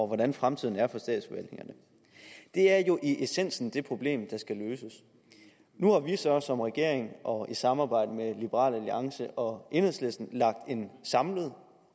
hvordan fremtiden er for statsforvaltningerne det er jo i essensen det problem der skal løses nu har vi så som regering og i samarbejde med liberal alliance og enhedslisten lagt en samlet